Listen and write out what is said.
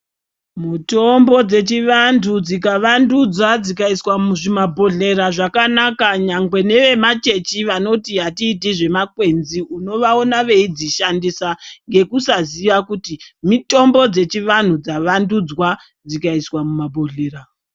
Mutombo dzechivantu dzikavandudzwa dzikaiswa muzvimabhohleya zvakanaka nyangwe nevemachechi vanoti atiiti zvemakwenzi unavaona veidzishandisa ngekusaziya kuti mitombo dzechivantu dzavandudzwa dzikaiswa mumabhohleya.